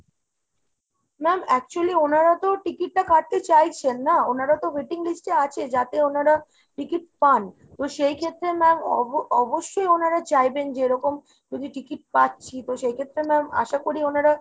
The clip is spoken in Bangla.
ma'am actually ওনারা তো ticket টা কাটতে চাইছেন নাহ ? ওনারা তো waiting list এ আছে যাতে ওনারা ticket পান। তো সেই ক্ষেত্রে ma'am অবশ্যই ওনারা চাইবেন যে এরকম যদি ticket পাচ্ছি তো সেই ক্ষেত্রে ma'am আশা করি ওনারা